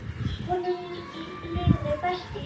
Honum liði best í sjónum.